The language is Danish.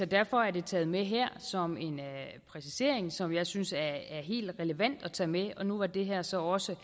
derfor er det taget med her som en præcisering som jeg synes er helt relevant at tage med og nu var det her så også